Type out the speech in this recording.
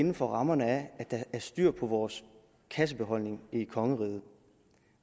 inden for rammerne af at der er styr på vores kassebeholdning i kongeriget